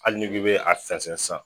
Hali n'i ko i bɛ a fɛnsɛ san